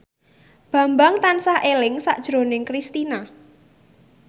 Bambang tansah eling sakjroning Kristina